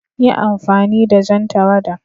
Yi amfani da jan tawada!